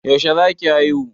Yaushe za ki haihu?